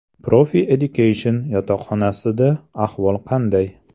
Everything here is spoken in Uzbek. Profi Education yotoqxonasida ahvol qanday?.